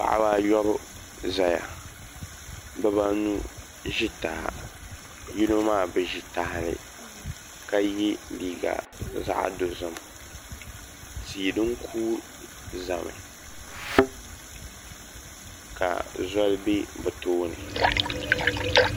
Paɣaba ayobu ʒɛya bibanu ʒi taha yino maa bi ʒi tahali ka yɛ liiga zaɣ dozim tii din kuui ʒɛmi ka zoli bɛ bi tooni